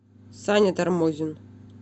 саня тормозин